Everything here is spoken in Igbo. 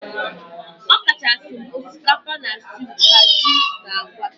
Ọkachasị m osikapa na stew ka ji na agwa